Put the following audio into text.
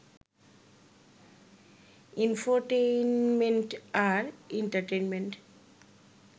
infotainment আর entertainment